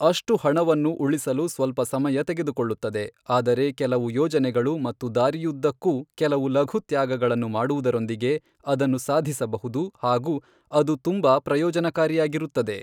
ಅಷ್ಟು ಹಣವನ್ನು ಉಳಿಸಲು ಸ್ವಲ್ಪ ಸಮಯ ತೆಗೆದುಕೊಳ್ಳುತ್ತದೆ, ಆದರೆ ಕೆಲವು ಯೋಜನೆಗಳು ಮತ್ತು ದಾರಿಯುದ್ದಕ್ಕೂ ಕೆಲವು ಲಘು ತ್ಯಾಗಗಳನ್ನು ಮಾಡುವುದರೊಂದಿಗೆ, ಅದನ್ನು ಸಾಧಿಸಬಹುದು ಹಾಗು ಅದು ತುಂಬಾ ಪ್ರಯೋಜನಕಾರಿಯಾಗಿರುತ್ತದೆ.